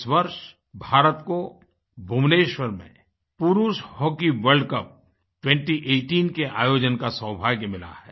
इस वर्ष भारत को भुवनेश्वर में पुरुष हॉकी वर्ल्ड कप 2018 के आयोजन का सौभाग्य मिला है